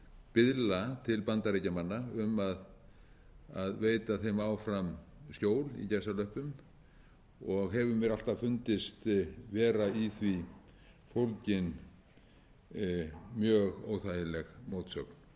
biðla til bandaríkjamanna um að veita þeim áfram skjól í gæsalöppum og hefur mér alltaf fundist vera í því fólgin mjög óþægileg mótsögn